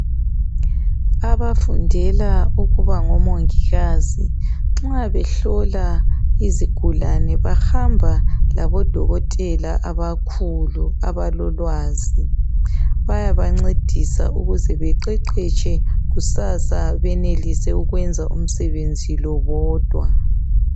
Abafundela ukuba ngomongikazi nxa behlola izigulani bayahamba labodokotela abakhulu abalolwazi bayabangcedisa ukuze beqeqeshe kusasa benelise ukuyenza umsebenzi lo bodwa